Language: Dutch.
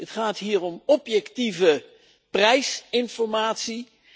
Het gaat hier om objectieve prijsinformatie.